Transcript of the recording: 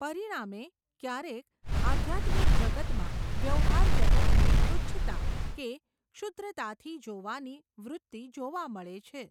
પરિણામે, ક્યારેક, આઘ્યાત્મિક જગતમાં, વ્યવહાર જગતને તુચ્છતા, કે, ક્ષૂદ્રતાથી જોવાની, વૃત્તિ જોવા મળે છે.